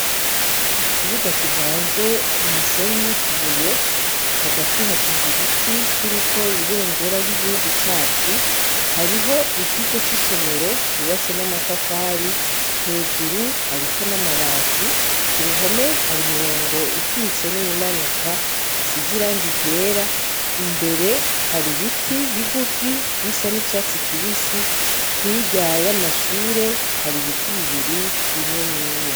Ikibuga kivanze umusenyu n'utubuye hagati hashinze igiti kiriko ibendera ry'igihugu cacu hariho ikigo c'isomero cubatse n'amatafari hejuru hariko n'amabati ku ruhome hari mirongo ikitse n'iymanuka isizirango igera imbere hari ibiti bigufi bisa n'icatsi kibisi hiryaye amashure hari ibiti bibiri bineneya.